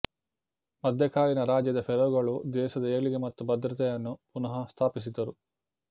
ಮಧ್ಯಕಾಲೀನ ರಾಜ್ಯದ ಫೇರೋಗಳು ದೇಶದ ಏಳಿಗೆ ಮತ್ತು ಭದ್ರತೆಯನ್ನು ಪುನಃಸ್ಥಾಪಿಸಿದರು